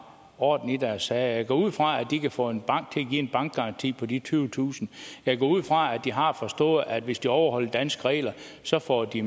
orden i deres sager jeg går ud fra at de kan få en bank til at give en bankgaranti på de tyvetusind jeg går ud fra at de har forstået at hvis de overholder danske regler så får de